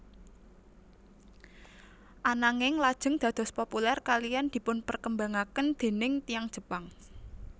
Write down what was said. Ananging lajeng dados populèr kaliyan dipun perkembang aken déning tiyang Jepang